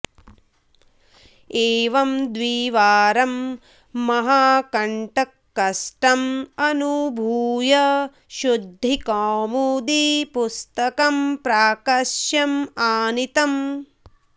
एवं द्विवारं महाकण्टककष्टम् अनुभूय शुद्धिकौमुदी पुस्तकं प्राकश्यम् आनीतम्